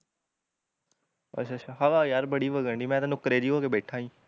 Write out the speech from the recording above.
ਅੱਛਾ ਅੱਛਾ ਹਵਾ ਯਾਰ ਬੜੀ ਵਘਣ ਡਈ ਮੈਂ ਤਾਂ ਨੁਕਰੇ ਜਹੀ ਹੋਕੇ ਬੈਠਾ ਈ